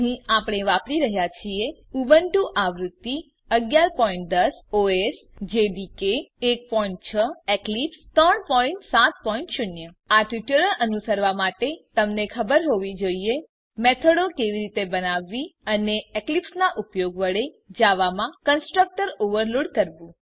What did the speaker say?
અહીં આપણે વાપરી રહ્યા છીએ ઉબુન્ટુ આવૃત્તિ 1110 OS Java development kit 16 Eclipse 370 આ ટ્યુટોરીયલ અનુસરવાં માટે તમને ખબર હોવી જોઈએ કે મેથડો કેવી રીતે બનાવવી અને એક્લીપ્સ નાં ઉપયોગ વડે જાવામાં કન્સ્ટ્રક્ટર ઓવરલોડ કરવું